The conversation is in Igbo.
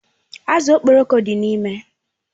Azụ Okporoko dị n'ime.